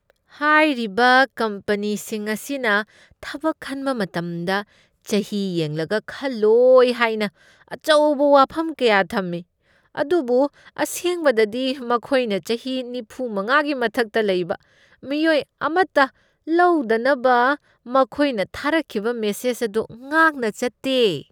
ꯍꯥꯏꯔꯤꯕ ꯀꯝꯄꯅꯤꯁꯤꯡ ꯑꯁꯤꯅ ꯊꯕꯛ ꯈꯟꯕ ꯃꯇꯝꯗ ꯆꯍꯤ ꯌꯦꯡꯂꯒ ꯈꯜꯂꯣꯏ ꯍꯥꯏꯅ ꯑꯆꯧꯕ ꯋꯥꯐꯝ ꯀꯌꯥ ꯊꯝꯃꯤ, ꯑꯗꯨꯕꯨ ꯑꯁꯦꯡꯕꯗꯗꯤ ꯃꯈꯣꯏꯅ ꯆꯍꯤ ꯅꯤꯐꯨꯃꯉꯥꯒꯤ ꯃꯊꯛꯇ ꯂꯩꯕ ꯃꯤꯑꯣꯏ ꯑꯃꯇ ꯂꯧꯗꯅꯕ ꯃꯈꯣꯏꯅ ꯊꯥꯔꯛꯈꯤꯕ ꯃꯦꯁꯦꯖ ꯑꯗꯨ ꯉꯥꯛꯅ ꯆꯠꯇꯦ꯫